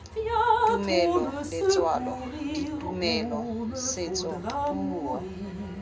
tumelo letswalo ditumelo setso puo